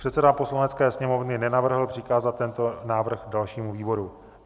Předseda Poslanecké sněmovny nenavrhl přikázat tento návrh dalšímu výboru.